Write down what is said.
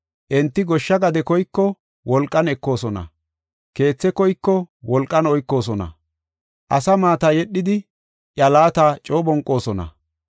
Enti goshsha gade koyiko, wolqan ekoosona; keethe koyiko wolqan oykoosona. Asa maata yedhidi, iya laata coo bonqoosona.